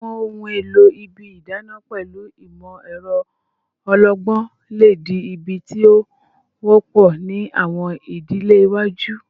Awọn ohun elo ibi idana pẹlu imọ-ẹrọ ọlọgbọn le di ibi ti o wọpọ ni awọn idile iwaju